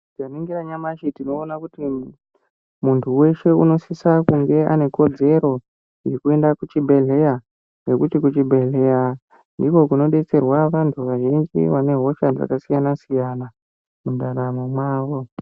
Tikaringira nyamashi tinoone kuti muntu weshe anosisa kunge anekodzero yekuende kuchibhedhleya. Ngekuti kuchibhedhleya ndiko kunobetserwa vantu vazhinji vane hosha dzakasiyana-siyana mundaramo mwavo.